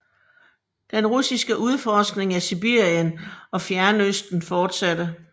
Den russiske udforskning af Sibirien og Fjernøsten fortsatte